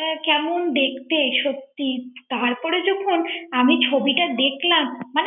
এ কেমন দেখতে সত্যি তারপরে যখন আমি ছবিটা দেখলাম ৷